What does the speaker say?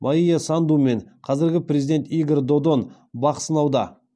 майя санду мен қазіргі президент игорь додон бақ сынауда